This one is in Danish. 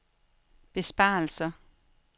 besparelser